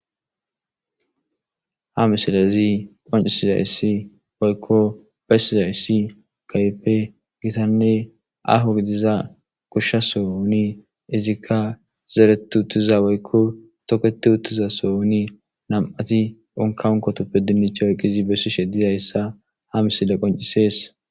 Ha misilezi qoncisizayissi woykko beyssizayssi kaype gitanne aho gidiza kushsha sooni izikka zeretu uttiza woykko toketi uttiza so oni nam'ati onkankotoppe dinicha woyqizi bessi she dizayssa ha misile qoncisees.